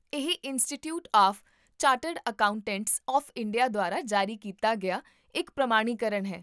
ਇਹ Institute of Chartered Accountants of India ਦੁਆਰਾ ਜਾਰੀ ਕੀਤਾ ਗਿਆ ਇੱਕ ਪ੍ਰਮਾਣੀਕਰਨ ਹੈ